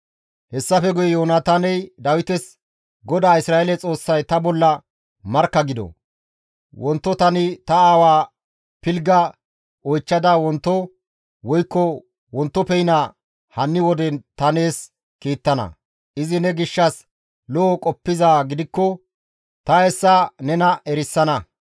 Hessafe guye Yoonataaney Dawites, «GODAA Isra7eele Xoossay ta bolla markka gido; wonto tani ta aawaa pilgga oychchada wonto woykko wontoppeyna hanni wode ta nees kiittana; izi ne gishshas lo7o qoppizaa gidikko ta hessa nena erisana.